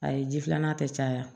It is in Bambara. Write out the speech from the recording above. Ayi ji filanan tɛ caya